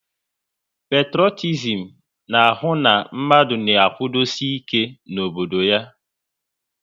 Petrotizim na ahụ na mmadụ na-akwudosi ike n'obodo ya